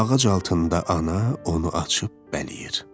Ağac altında ana onu açıb bələyir.